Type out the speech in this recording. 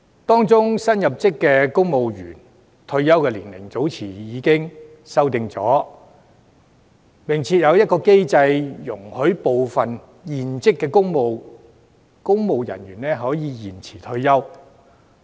當中新入職公務員的退休年齡早前已作出修訂，並設有機制容許部分現職公務員延遲退休。